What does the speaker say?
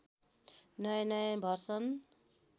नयाँ नयाँ भर्सन